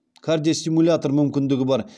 кардиостимулятор мүмкіндігі бар